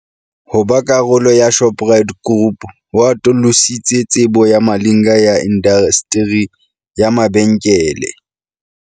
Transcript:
Ho ba karolo ya Shoprite Group ho atolositse tsebo ya Malinga ya indasteri ya mabenkele.